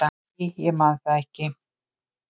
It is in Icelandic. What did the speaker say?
"""Æ, ég man það ekki."""